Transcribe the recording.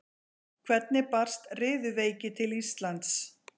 Hvernig barst riðuveiki til Íslands?